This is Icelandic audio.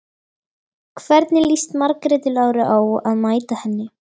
Hvernig líst Margréti Láru á að mæta henni?